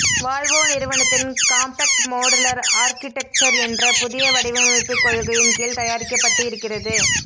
Volvo நிறுவனத்தின் compact modular architecture என்ற புதிய வடிவமைப்புக் கொள்கையின் கீழ் தயாரிக்கப்பட்டு இருக்கிறது